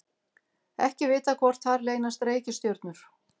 ekki er vitað hvort þar leynast reikistjörnur